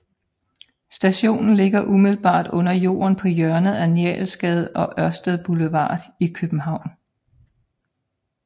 Stationen ligger umiddelbart under jorden på hjørnet af Njalsgade og Ørestads Boulevard i København